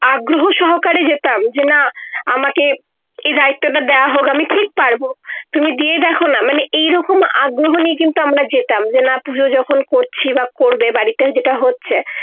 আগ্রহ সহকারে যেটাম যে না আমাকে এই দায়িত্ব টা দেওয়া হক আমি ঠিক পারবো তুমি দিয়ে দেখো না মানে এই রকম আগ্রহ নিয়ে কিন্তু আমরা যেতাম না পূজো যখন করছি বা করবে বাড়িতে যেটা হচ্ছে